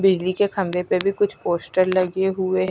बिजली के खंबे पर भी कुछ पोस्टर लगे हुए--